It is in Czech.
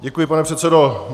Děkuji, pane předsedo.